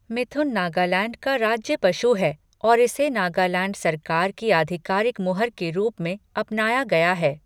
मिथुन नागालैंड का राज्य पशु है और इसे नागालैंड सरकार की आधिकारिक मुहर के रूप में अपनाया गया है।